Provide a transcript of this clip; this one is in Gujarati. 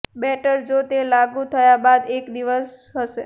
બેટર જો તે લાગુ થયા બાદ એક દિવસ હશે